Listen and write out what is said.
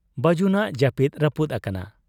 ᱵᱟᱹᱡᱩᱱᱟᱜ ᱡᱟᱹᱯᱤᱫ ᱨᱟᱹᱯᱩᱫ ᱟᱠᱟᱱᱟ ᱾